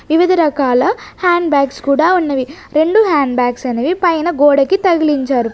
వివిధ రకాల hand bags కూడా ఉన్నవి రెండు హ్యాండ్ బ్యాగ్స్ అనేవి పైన గోడకి తగిలించారు.